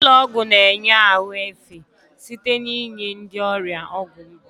Ụlọ ọgwụ na-enye ahụ efe site n'inye ndị ọrịa ọgwụ mgbu.